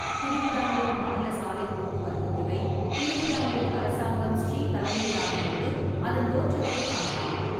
திருவிதாங்கூர் மாநில சாலைப் போக்குவரத்துத் துறை, திருவிதாங்கூர் அரசாங்கம் ஸ்ரீ தலைமையிலானபோது, அதன் தோற்றத்தைக் காணலாம்.